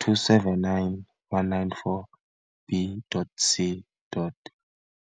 279 - 194 B.C.